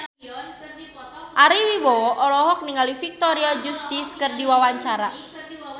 Ari Wibowo olohok ningali Victoria Justice keur diwawancara